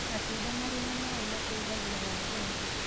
Matunda marĩ na mae mateĩthagĩa wa ngothĩ